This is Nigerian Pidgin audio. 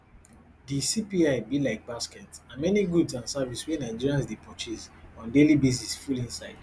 di cpi be like basket and many goods and service wey nigerians dey purchase on daily basis full inside